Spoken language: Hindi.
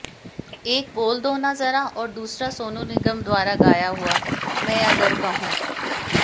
एक बोल दो ना जरा और दूसरा सोनू निगम द्वारा गाया हुआ मैं अगरक कहूं